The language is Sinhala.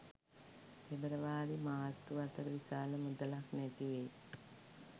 පෙබරවාරි මාර්තු අතර විශාල මුදලක් නැතිවෙයි.